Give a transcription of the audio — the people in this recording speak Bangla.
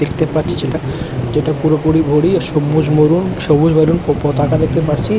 দেখতে পাচ্ছি যেটা সেটা পুরোপুরি ভরি এবং সবুজ মরুণ সবুজ মরুণ পতাকা দেখতে পাচ্ছি--